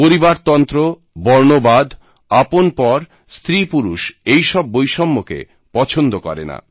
পরিবারতন্ত্র বর্ণবাদ আপনপর স্ত্রীপুরুষ এই সব বৈষম্যকে পছন্দ করে না